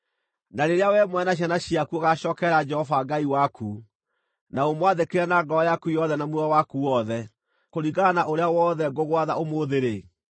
na rĩrĩa wee mwene na ciana ciaku ũgaacookerera Jehova Ngai waku na ũmwathĩkĩre na ngoro yaku yothe na muoyo waku wothe, kũringana na ũrĩa wothe ngũgwatha ũmũthĩ-rĩ,